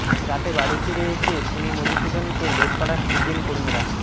রাতে বাড়ি ফিরে এসে শুনি মধুসূধনকে লেটপাড়ার সিপিএম কর্মীরা